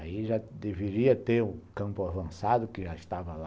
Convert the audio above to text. Aí já deveria ter o campo avançado, que já estava lá.